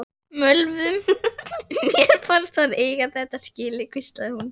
Mér fannst hann eiga þetta skilið- hvíslaði hún.